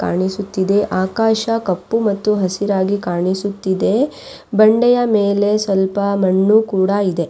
ಕಾಣಿಸುತ್ತಿದೆ ಆಕಾಶ ಕಪ್ಪು ಮತ್ತು ಹಸಿರಾಗಿ ಕಾಣಿಸುತ್ತಿದೆ ಬಂಡೆಯ ಮೇಲೆ ಸ್ವಲ್ಪ ಮಣ್ಣು ಕೂಡ ಇದೆ.